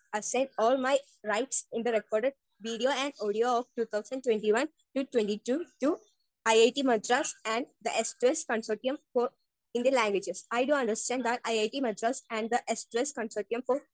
Speaker 1 assign all my rights in the record audio of two thousand twenty one to two thousand twenty two to IIT Madras and the S two S consortium for Indian languages. I do understand that IIT Madras and the S two S consortium four.